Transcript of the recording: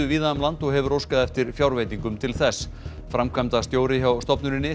víða um land og hefur óskað eftir fjárveitingum til þess framkvæmdastjóri hjá stofnuninni